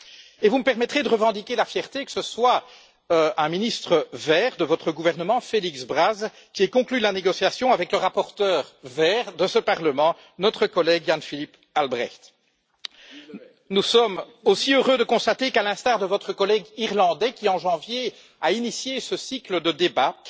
Et vous me permettrez de revendiquer la fierté que ce soit un ministre vert de votre gouvernement, Félix Braz, qui a conclu la négociation avec le rapporteur vert de ce Parlement, notre collègue Jan Philipp Albrecht. Nous sommes également heureux de constater qu'à l'instar de votre collègue irlandais qui, en janvier, a inauguré ce cycle de débats,